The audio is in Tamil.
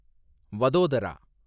வதோதரா